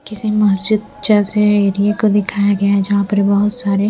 किसी मस्जिद जैसे एरिया को दिखाया गया जहाँ पर बहुत सारे--